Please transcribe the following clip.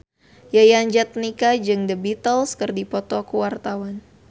Yayan Jatnika jeung The Beatles keur dipoto ku wartawan